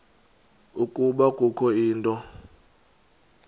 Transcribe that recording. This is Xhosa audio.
ukuba kukho into